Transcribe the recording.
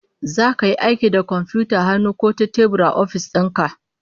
Zaka yi aiki da komfiyutar hannu ko ta tebur a ofis din ka?